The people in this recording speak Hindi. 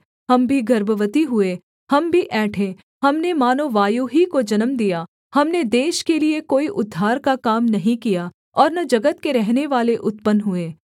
हम भी गर्भवती हुए हम भी ऐंठे हमने मानो वायु ही को जन्म दिया हमने देश के लिये कोई उद्धार का काम नहीं किया और न जगत के रहनेवाले उत्पन्न हुए